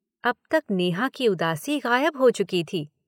अब तक नेहा की उदासी गायब हो चुकी थी।